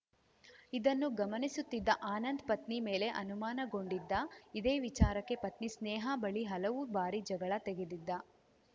ಇದನ್ನು ಗಮನಿಸುತ್ತಿದ್ದ ಆನಂದ್‌ ಪತ್ನಿ ಮೇಲೆ ಅನುಮಾನಗೊಂಡಿದ್ದ ಇದೇ ವಿಚಾರಕ್ಕೆ ಪತ್ನಿ ಸ್ನೇಹಾ ಬಳಿ ಹಲವು ಬಾರಿ ಜಗಳ ತೆಗೆದಿದ್ದ